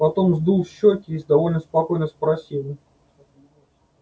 потом сдул щёки и довольно спокойно спросил